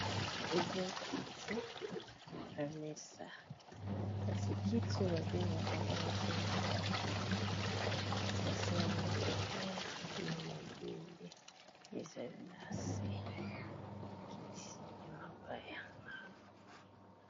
Eza kiti na mesa, kasi kiti oyo ba bengaka ngo na kombo ya ba kiti ba sala yango na mabaya na mabende ezali na se kiti ya mabaya .